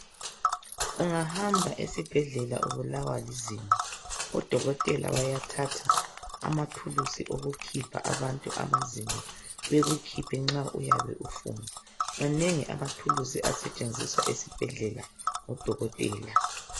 ungahamba esibhedlela ubulawa lizinyo odokotela bayathatha amathulusi wokukhipha abantu amazinyo bekukhephe nxa ufuna manengi amathulusi asetshenziswa esibhedloela ngabodokotela